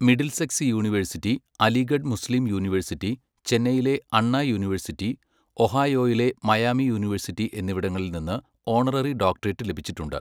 Middlesex university, Aligarh Muslim university, ചെന്നൈയിലെ Anna university, ഒഹായോയിലെ Miami university എന്നിവിടങ്ങളിൽ നിന്ന് ഓണററി ഡോക്ടറേറ്റ് ലഭിച്ചിട്ടുണ്ട്.